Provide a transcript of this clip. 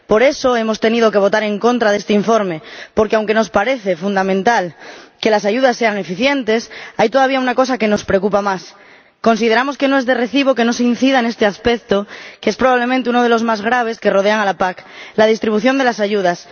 Por eso hemos tenido que votar en contra de este informe, porque, aunque nos parece fundamental que las ayudas sean eficientes, hay todavía una cosa que nos preocupa más. Consideramos que no es de recibo que no se incida en este aspecto, que es probablemente uno de los más graves que rodean a la PAC la distribución de las ayudas.